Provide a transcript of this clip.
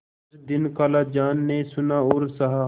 कुछ दिन खालाजान ने सुना और सहा